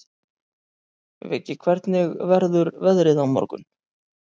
Viggi, hvernig verður veðrið á morgun?